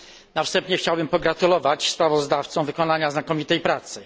Na wstępie chciałbym pogratulować sprawozdawcom wykonania znakomitej pracy.